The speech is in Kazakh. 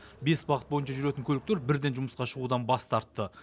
бес бағыт бойынша жүретін көліктер бірден жұмысқа шығудан бас тартты